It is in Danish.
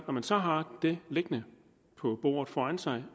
når man så har det liggende på bordet foran sig